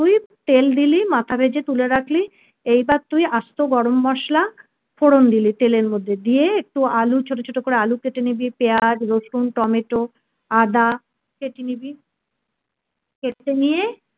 তেল দিলি মাথা ভেজে তুলে রাখলি এইবার তুই আস্ত গরম মসলা ফোরন দিলি তেলের মধ্যে দিয়ে একটু আলু ছোট ছোট করে আলু কেটে নিবি পিয়াজ রসুন টমেটো আদা কেটে নিবি কেটে নিয়ে